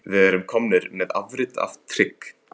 Við erum komnir með afrit af trygg